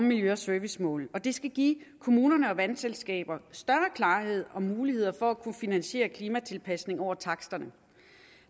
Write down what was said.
miljø og servicemål og det skal give kommunerne og vandselskaber større klarhed om muligheder for at kunne finansiere klimatilpasninger over taksterne